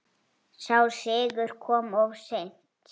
Sá sigur kom of seint.